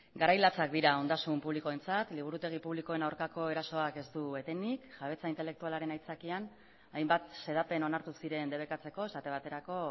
garai latxak dira ondasun publikoentzat liburutegi publikoen aurkako erasoak ez du etenik jabetza intelektualaren aitzakian hainbat xedapen onartu ziren debekatzeko esate baterako